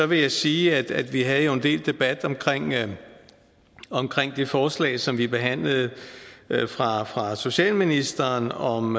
vil jeg sige at vi jo havde en del debat om det forslag som vi behandlede fra fra socialministeren om